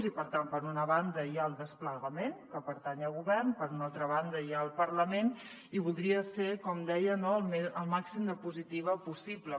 i per tant per una banda hi ha el desplegament que pertany al govern per una altra banda hi ha el parlament i voldria ser com deia no al màxim de positiva possible